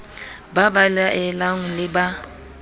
ba ba laelang le ba